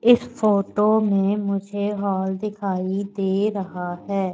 इस फोटो में मुझे हाल दिखाई दे रहा है।